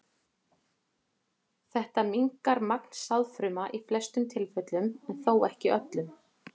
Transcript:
Þetta minnkar magn sáðfruma í flestum tilfellum en þó ekki öllum.